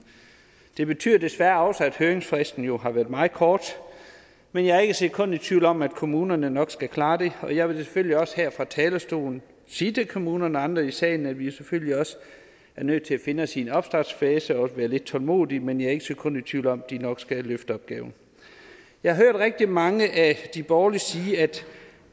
det betyder desværre også at høringsfristen jo har været meget kort men jeg er ikke et sekund i tvivl om at kommunerne nok skal klare det og jeg vil selvfølgelig også her fra talerstolen sige til kommunerne og andre i salen at vi selvfølgelig også er nødt til at finde os i en opstartsfase hvor vi være lidt tålmodig men jeg er ikke sekund i tvivl om at de nok skal løfte opgaven jeg har hørt rigtig mange af de borgerlige sige at